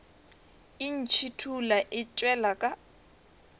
e ntšhithola e tšwela ka